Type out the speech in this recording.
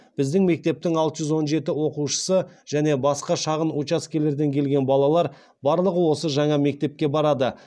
біздің мектептің алты жүз он жеті оқушысы және басқа шағын учаскелерден келген балалар барлығы осы жаңа мектепке барады